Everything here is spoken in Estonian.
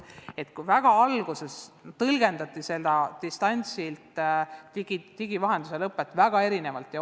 Alguses tõlgendati seda digilahenduste vahendusel distantsilt õppimist väga erinevalt.